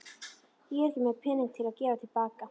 Ég er ekki með peninga til að gefa til baka.